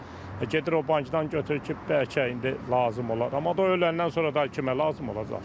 Gedir o bankdan götürür ki, bəlkə indi lazım olar, amma o öləndən sonra daha kimə lazım olacaq ki?